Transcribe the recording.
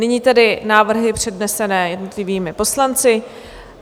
Nyní tedy návrhy přednesené jednotlivými poslanci.